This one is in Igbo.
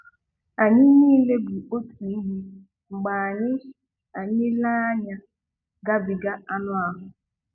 Anyị niile bụ otu ihe mgbe anyị anyị lee anya gabiga anụ ahụ.